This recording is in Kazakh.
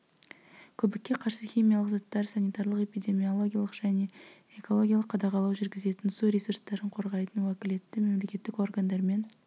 көбікке қарсы химиялық заттар санитарлық-эпидемиологиялық және экологиялық қадағалау жүргізетін су ресурстарын қорғайтын уәкілетті мемлекеттік органдармен